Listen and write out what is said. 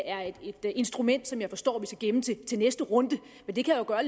er et instrument som jeg forstår vi skal gemme til til næste runde men det kan jo gøre